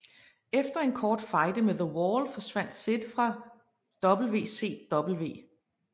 Efter en kort fejde med The Wall forsvandt Sid fra WCW